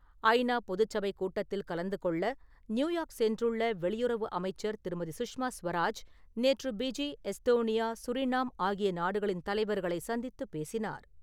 ஐ நா பொதுச்சபை கூட்டத்தில் கலந்து கொள்ள நியுயார்க் சென்றுள்ள வெளியறவு அமைச்சர் திருமதி. சுஷ்மா ஸ்வராஜ் நேற்று ஃபிஜி, எஸ்தோனியா, சுரினாம் ஆகிய நாடுகளின் தலைவர்களை சந்தித்துப் பேசினார்.